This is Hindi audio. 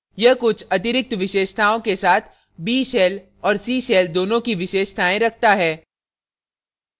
यह कुछ अतिरिक्त विशेषताओं features के साथ b shell और c shell दोनों की विशेषतायें रखता है